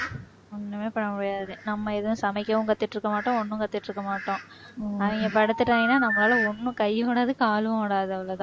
ஒண்ணுமே பண்ண முடியாது நம்ம எதுவும் சமைக்கவும் கத்துக்கிட்டு இருக்கமாட்டோம் ஒண்ணும் கத்துக்கிட்டு இருக்கமாட்டோம் அவங்க படுத்துட்டாங்கன்னா நம்மளால ஒண்ணும் கையும் ஓடாது காலும் ஓடாது அவ்வளவுதான்